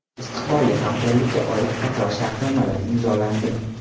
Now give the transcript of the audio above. Istiqbolli hamkorlikka oid qator shartnomalar imzolandi.